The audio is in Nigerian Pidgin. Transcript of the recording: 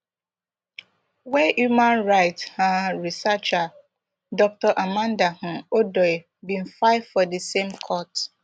wey human rights um researcher dr amanda um odoi bin file for di same court